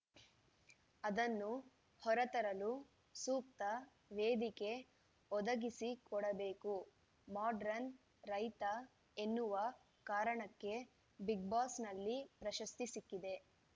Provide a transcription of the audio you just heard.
ಅದನ್ನು ಹೊರತರಲು ಸೂಕ್ತ ವೇದಿಕೆ ಒದಗಿಸಿಕೊಡಬೇಕು ಮಾಡ್ರನ್‌ ರೈತ ಎನ್ನುವ ಕಾರಣಕ್ಕೆ ಬಿಗ್‌ಬಾಸ್‌ನಲ್ಲಿ ಪ್ರಶಸ್ತಿ ಸಿಕ್ಕಿದೆ